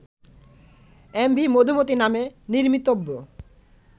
MV Madhumati নামে নির্মিতব্য